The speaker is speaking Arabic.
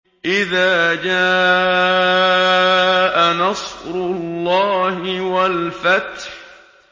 إِذَا جَاءَ نَصْرُ اللَّهِ وَالْفَتْحُ